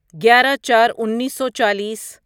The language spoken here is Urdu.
گیارہ چار انیسو چالیس